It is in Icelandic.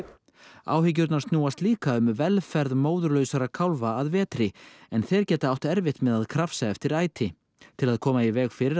áhyggjurnar snúast líka um velferð kálfa að vetri en þeir geta átt erfitt með að krafsa eftir æti til að koma í veg fyrir að